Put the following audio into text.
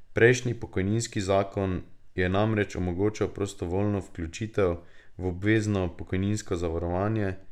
Prejšnji pokojninski zakon je namreč omogočal prostovoljno vključitev v obvezno pokojninsko zavarovanje.